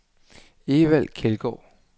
Evald Kjeldgaard